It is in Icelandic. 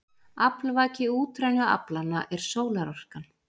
Aflvaki útrænu aflanna er sólarorkan.